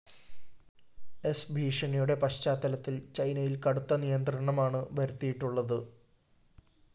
സ്‌ ഭീഷണിയുടെ പശ്ചാത്തലത്തില്‍ ചൈനയില്‍ കടുത്ത നിയന്ത്രണമാണ് വരുത്തിയിട്ടുള്ളത്